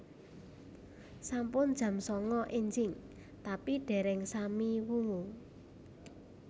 Sampun jam sanga enjing tapi dereng sami wungu